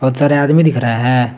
सारे आदमी दिख रहे हैं।